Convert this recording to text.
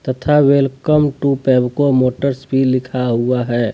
ठ welcome to Pebco motors भी लिखा हुआ है।